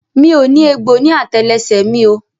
Mi ò ní egbò ní àtẹlẹsẹ̀ rẹ mi o.